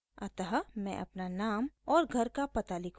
अतः मैं अपना नाम और घर का पता लिखूंगी